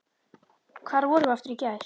Hvar vorum við aftur í gær?